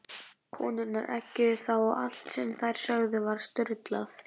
Konurnar eggjuðu þá og allt sem þær sögðu var stuðlað.